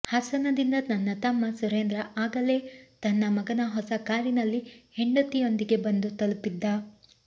ಹಾಸನದಿಂದ ನನ್ನ ತಮ್ಮ ಸುರೇಂದ್ರ ಆಗಲೇ ತನ್ನ ಮಗನ ಹೊಸ ಕಾರಿನಲ್ಲಿ ಹೆಂಡತಿಯೊಂದಿಗೆ ಬಂದು ತಲಪಿದ್ದ